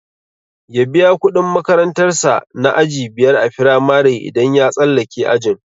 Ya biya kudin makarantar sa na aji biyar a firamare idan ya tsallake ajin.